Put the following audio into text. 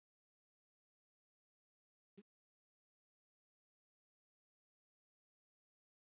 sumir segja að asnar sökkvi fljótt í kviksyndi en múldýr ekki